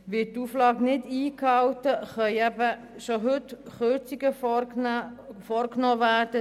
Wird die Auflage nicht eingehalten, können bereits heute Kürzungen vorgenommen werden.